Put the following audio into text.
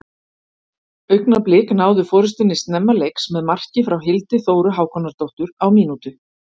Augnablik náðu forystunni snemma leiks með marki frá Hildi Þóru Hákonardóttur á mínútu.